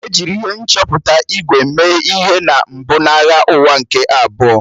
E jiri ihe nchọpụta ígwè mee ihe na mbụ na Agha Ụwa nke Abụọ